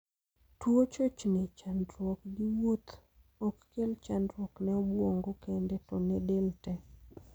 Tuo chochni (chandruok) gi wuoth ok kel chandruok ne obuongo kende to ne del tee.